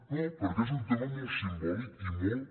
no perquè és un tema molt simbòlic i molt